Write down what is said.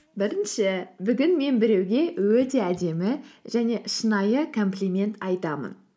бірінші бүгін мен біреуге өте әдемі және шынайы комплимент айтамын